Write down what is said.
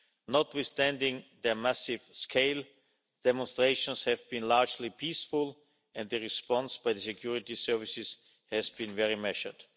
Notwithstanding their massive scale, demonstrations have been largely peaceful and the response by the security services has been very measured.